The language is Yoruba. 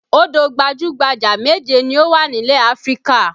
Odò gbajú-gbajà méje ni ó wà nílẹ̀ Áfríkà